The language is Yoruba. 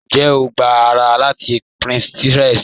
Ǹjẹ́ o gbà ará láti Pinterest?